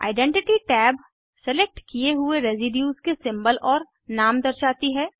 identity tab select किये हुए residue के सिंबल और नाम दर्शाती है